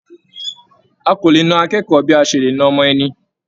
A kò le na akẹ́kọ̀ọ́ bí a ṣe lè na ọmọ ẹni